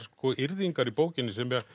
yrðingar í bókinni sem